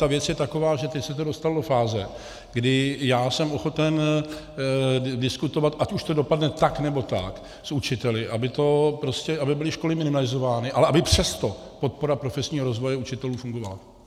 Ta věc je taková, že teď se to dostalo do fáze, kdy já jsem ochoten diskutovat, ať už to dopadne tak, nebo tak, s učiteli, aby byly škody minimalizovány, ale aby přesto podpora profesního rozvoje učitelů fungovala.